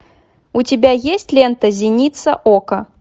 у тебя есть лента зеница ока